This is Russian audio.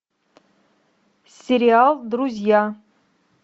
сериал друзья